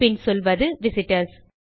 பின் சொல்வது விசிட்டர்ஸ்